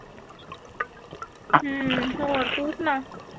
ਹੂੰ ਹੋਰ ਤੂੰ ਸੁਣਾ